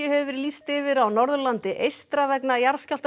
hefur verið lýst yfir á Norðurlandi eystra vegna